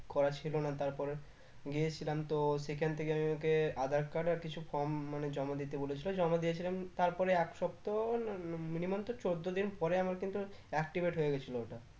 করা ছিল না তার পরে গিয়েছিলাম তো সেখান থেকে আমি আমাকে aadhar card আর কিছু form মানে জমা দিতে বলেছিলো জমা দিয়েছিলাম তারপরে এক সপ্তাহ না মানে minimum তো চোদ্দ দিন পরে আমার কিন্তু activate হয়ে গেছিলো ওটা